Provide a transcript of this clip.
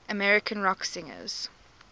american rock singers